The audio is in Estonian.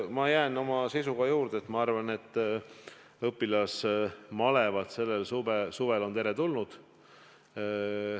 Ma jään oma seisukoha juurde: ma arvan, et õpilasmalevad on ka sellel suvel teretulnud.